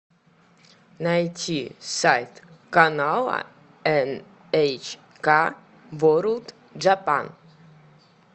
найти сайт канала эн эйч ка ворлд джапан